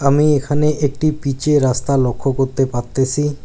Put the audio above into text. আমি এখানে একটি পিচের রাস্তা লক্ষ্য করতে পারতেছি।